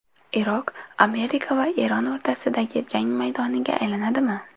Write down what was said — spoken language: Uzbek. Iroq Amerika va Eron o‘rtasidagi jang maydoniga aylanadimi?